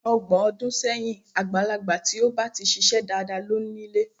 Ọgbọ̀n ọdún sẹ́yìn, àgbàlagbà tí ó ba ti ṣiṣẹ́ dáadáa ló ń ile.